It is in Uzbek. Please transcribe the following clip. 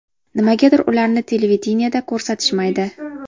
Nimagadir ularni televideniyeda ko‘rsatishmaydi?